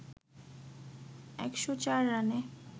১০৪ রানে